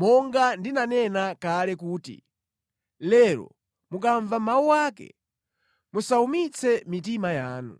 monga ndinanena kale kuti, “Lero mukamva mawu ake, musawumitse mitima yanu.”